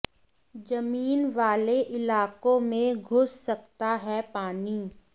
जमीन वाले इलाकों में घुस सकता है पानी